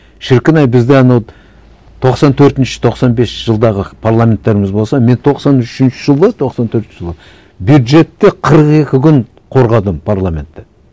шіркін ай бізде анау тоқсан төртінші тоқсан бесінші жылдағы парламенттеріміз болса мен тоқсан үшінші жылы тоқсан төртінші жылы бюджетті қырық екі күн қорғадым парламентте